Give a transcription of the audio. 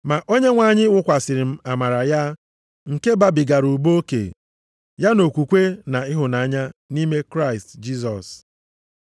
Ma Onyenwe anyị wụkwasịrị m amara ya, nke babigara ụba oke, ya na okwukwe na ịhụnanya nʼime Kraịst Jisọs.